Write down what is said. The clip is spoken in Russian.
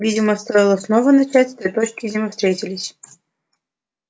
видимо стоило снова начать с той точки где мы встретились